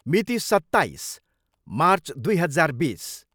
मिति, सत्ताइस मार्च दुई हजार बिस।